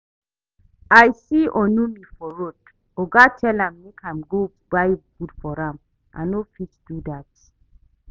I see Onome for road, oga tell am make im go buy food for am. I no fit do dat